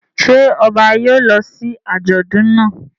Ṣé ọba yóò lọ sí àjọ̀dún náà?